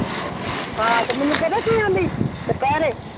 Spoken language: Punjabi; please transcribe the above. ਹਾਂ ਤੇ ਮੈਨੂੰ ਕਹਿਤਾ ਤੁਰਨ ਲਈ ਦੁਪਹਿਰੇ।